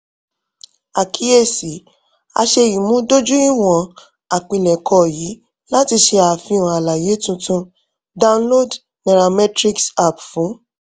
akiyesi: a ṣe imudojuiwọn àpilẹkọ yii lati ṣe afihan alaye tuntun download nairametrics app fun